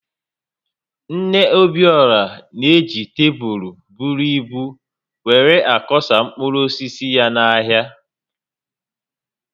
Nne Obiora na-eji tebụl buru ibu were akoọsa mkpụrụ osisi ya n’ahịa